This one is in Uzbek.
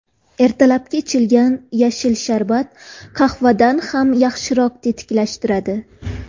Ertalabki ichilgan yashil sharbat qahvadan ham yaxshiroq tetiklashtiradi.